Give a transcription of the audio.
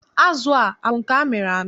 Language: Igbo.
Azụ a, abụ nke amịrị amị?